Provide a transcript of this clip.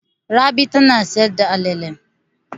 Rabi tana sayar da alale.